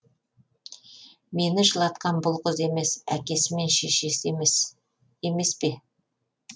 мені жылатқан бұл қыз емес әкесі мен шешесі емес пе